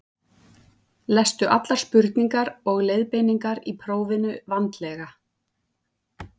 Lestu allar spurningar og leiðbeiningar í prófinu vandlega.